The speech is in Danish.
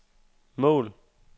mål